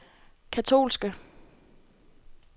katolske